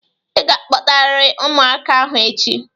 Ị ga-akpọtarịrị ụmụaka ahụ echi!